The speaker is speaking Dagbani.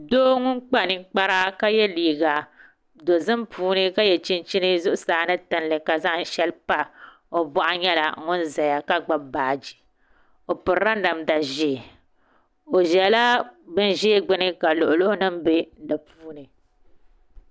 Doo ŋun kpa ninkpara ka yɛ liiga dozim o boɣu ni tiŋli nyɛla ŋun ʒɛya ka gbubi baaji o pirila namda ʒiɛ o ʒɛla bin ʒiɛ gbuni ka luɣi luɣi nim bɛ di puuni